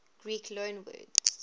greek loanwords